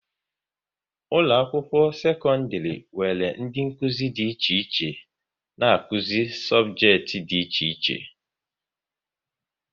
Ụlọ akwụkwọ sekọndrị nwere ndị Nkụzi dị iche iche n'akuzi sobjekiti dị iche iche